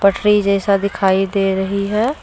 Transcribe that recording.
पटरी जैसा दिखाई दे रही है ।